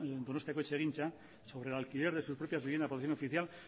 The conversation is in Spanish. donostiako etxegintza sobre el alquiler de sus propias viviendas de protección oficial